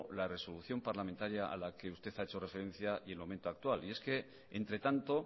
la resolución parlamentaria a la que usted ha hecho referencia y el momento actual y es que entre tanto